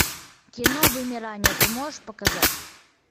кино вымирание ты можешь показать